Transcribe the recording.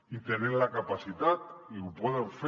i en tenen la capacitat i ho poden fer